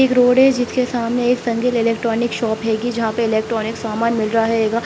एक रोड है जिसके सामने एक संगिल इलेक्ट्रॉनिक्स शॉप हैगी जहाँ पे इलेक्ट्रॉनिक्स सामान मिल रहा हैगा।